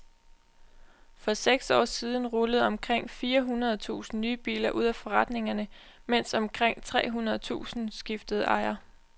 For seks år siden rullede omkring fire hundrede tusinde nye biler ud af bilforretningerne, mens omkring tre hundrede tusinde skiftede ejer.